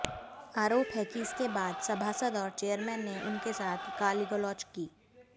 आरोप है कि इसके बाद सभासद और चेयरमैन ने उनके साथ गालीगलौज की